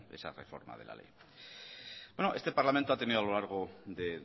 esa reforma de la ley bueno este parlamento ha tenido a lo largo de